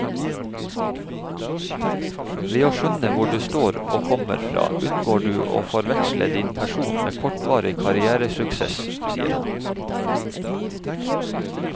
Ved å skjønne hvor du står og kommer fra unngår du å forveksle din person med kortvarig karrieresuksess, sier han.